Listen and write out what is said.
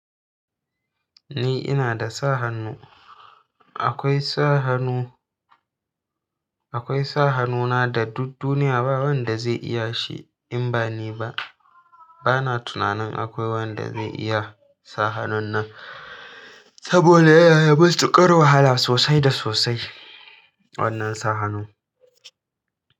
Ni ina da sa hannu, akwai sa hannu, akwai sa hannuna da duk duniya ba wanda zai iya shi in ba ni ba. Bana tunanin akwai wanda zai iya sa hannun nan saboda ya na da matukar wahala sosai da sosai wannan sa hannun.